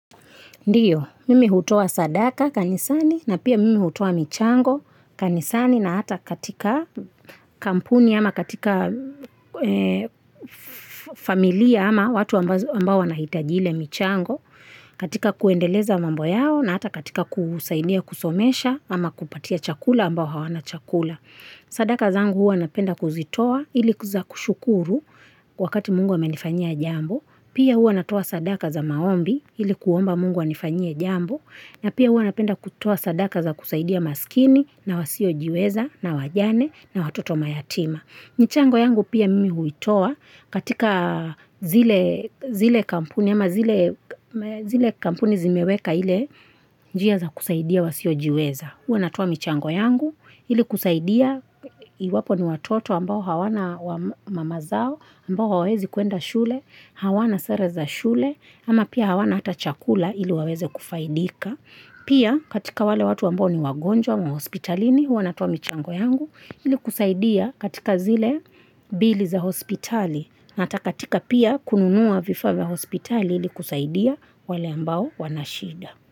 Ndiyo, mimi hutoa sadaka kanisani na pia mimi hutoa michango kanisani na hata katika kampuni ama katika familia ama watu ambao wanahitajile michango, katika kuendeleza mambo yao na hata katika kusaidia kusomesha ama kupatia chakula ambao hawana chakula. Sadaka zangu hua napenda kuzitoa ili kuweza kushukuru wakati mungu ame nifanyia jambo Pia hua natoa sadaka za maombi ilikuomba mungu anifanyie jambo na pia hua napenda kutua sadaka za kusaidia maskini na wasiojiweza na wajane na watoto mayatima michango yangu pia mimi huitoa katika zile kampuni ama zile kampuni zimeweka ili njia za kusaidia wasiojiweza huwa natuwa michango yangu, ili kusaidia iwapo ni watoto ambao hawana mamazao, ambao hawezi kuenda shule, hawana sereza shule, ama pia hawana hata chakula ili waweze kufaidika. Pia katika wale watu ambao ni wagonjwa, mwa hospitalini, huwa natuwa michango yangu, ili kusaidia katika zile bili za hospitali, na hatakatika pia kununuwa vifave hospitali ili kusaidia wale ambao wanashida.